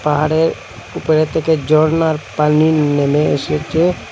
পাহাড়ের উপরের থেকে ঝরনার পানি নেমে এসেছে।